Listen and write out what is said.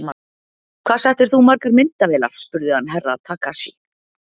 Hvað settir þú margar myndavélar spurði hann Herra Takashi.